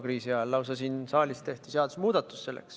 Siin saalis tehti selleks lausa seadusemuudatus.